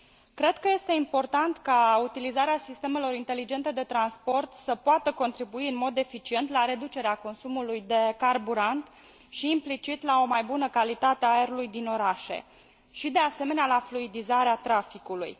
Cred că este important ca utilizarea sistemelor inteligente de transport să poată contribui în mod eficient la reducerea consumului de carburant și, implicit, la o mai bună calitate a aerului din orașe și, de asemenea, la fluidizarea traficului.